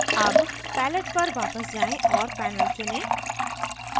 अब palette पर वापस जाएँ और panel चुनें